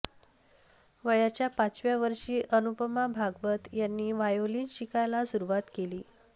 वयाच्या पाचव्या वर्षी अनुपमा भागवत यांनी व्हायोलिन शिकायला सुरुवात केली